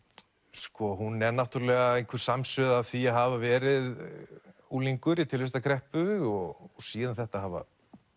sko hún er náttúrulega einhver samsuða af því að hafa verið unglingur í tilvistarkreppu og síðan þetta að hafa